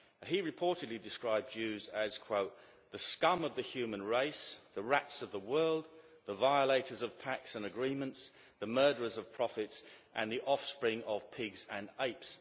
He reportedly described Jews as the scum of the human race, the rats of the world, the violators of pacts and agreements, the murderers of prophets, and the offspring of pigs and apes'.